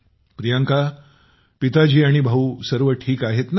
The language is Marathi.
जी पिताजी आणि भाऊ सर्व ठीक आहेत ना